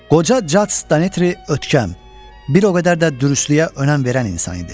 Qoca Caç Datri ötkəm, bir o qədər də dürüstlüyə önəm verən insan idi.